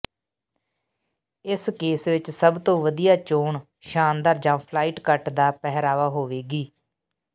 ਇਸ ਕੇਸ ਵਿਚ ਸਭ ਤੋਂ ਵਧੀਆ ਚੋਣ ਸ਼ਾਨਦਾਰ ਜਾਂ ਫਲਾਈਟ ਕੱਟ ਦਾ ਪਹਿਰਾਵਾ ਹੋਵੇਗੀ